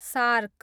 shark